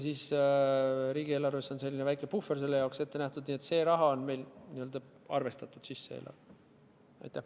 Riigieelarves on selle jaoks väike puhver ette nähtud, nii et see raha on meil eelarvesse sisse arvestatud.